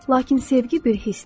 Lakin sevgi bir hissdir.